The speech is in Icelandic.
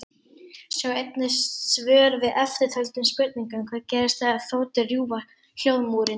Sjá einnig svör við eftirtöldum spurningum: Hvað gerist þegar þotur rjúfa hljóðmúrinn?